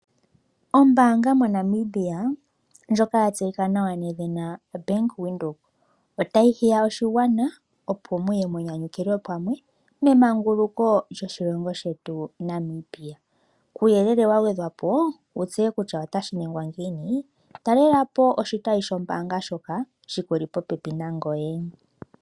Ombaanga moNamibia ndjoka yatseyika nawa Bank Windhoek otayi hiya oshigwana opo muye munyanyukilwe pamwe memanguluko lyoshilongo shetu Namibia . Kuuyelele wagwedhwapo wutseye kutya otashi ningwa ngiini, talelapo oshitayi shombaanga shoka shikuli popepi nangoye.